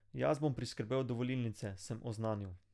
Jaz bom priskrbel dovolilnice, sem oznanil.